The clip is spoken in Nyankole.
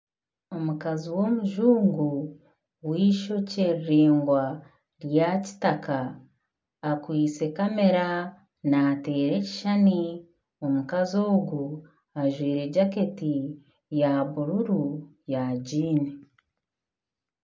Omukazi w'omujungu w'eishokye riraingwa rya kitaka akwaitse kamera nateera ekishushani. Omukazi ogu ajwaire jaketi ya bururu ya jiini.